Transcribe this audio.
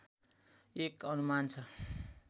एक अनुमान छ